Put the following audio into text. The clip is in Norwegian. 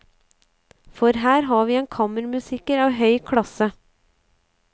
For her har vi en kammermusiker av høy klasse.